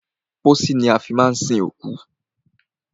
Pósí ni a fi má ń sin òkú.